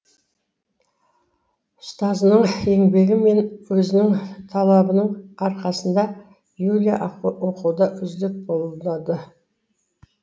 ұстазының еңбегі мен өзінің талабының арқасында юля оқуда үздік болады